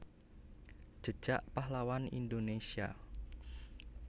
Jejak Pahlawan Indonésia